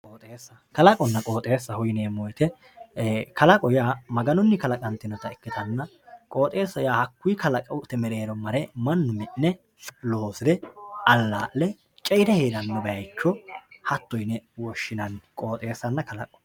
kaqonna qooxxeessaho yineemo woyite kalqo yaa maganunni kalaqanitinoha ikkanna qooxxeessa yaa hakuyi kalaqote mereero mare manu mi'ne, loosire alaa'le ce'ire heeranno bayicho hato yine woshinanni qooxxeessanna kalaqo